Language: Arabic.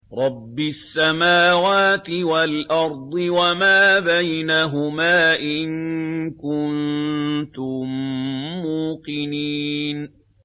رَبِّ السَّمَاوَاتِ وَالْأَرْضِ وَمَا بَيْنَهُمَا ۖ إِن كُنتُم مُّوقِنِينَ